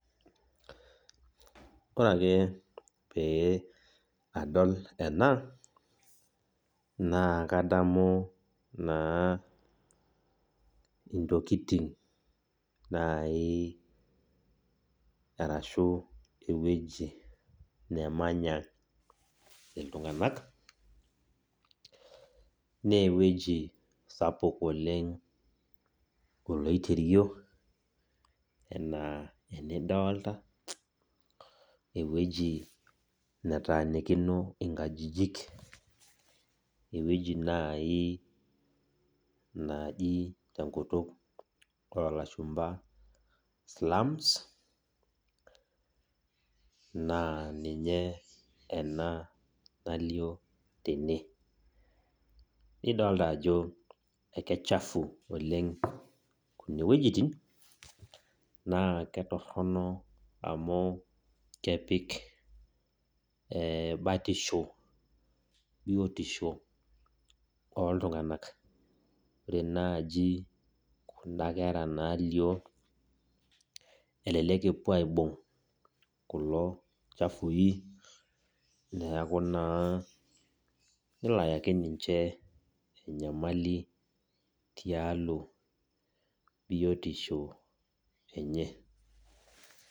Ore ake pee edol ena naa kadamu ntokitin naajiiarashu ewueji nemanya iltung'ana naa ewueji sapuk oloiterio ena enidolita ewueji netanikino nkajijik ewueji naaji tenkutuk oo lashumba slums naa eninye ena nalio tene nifolita Ajo kichafu oleng kune wuejitin naa kitorrono amu kepiki batisho biotisho oo iltung'ana ore naaji Kuna kera nalio elelek epuo aibug kulo chafui neeku naa nelo ayaki ninche enyamali tialo biotisho enye